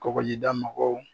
Kɔgɔjida mɔgɔw.